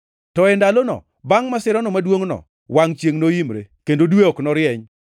“To e ndalono, bangʼ masirano maduongʼno, “ ‘Wangʼ chiengʼ noimre, kendo dwe ok norieny;